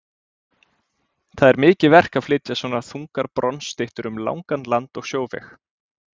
Það er mikið verk að flytja svo þungar bronsstyttur um langan land- og sjóveg.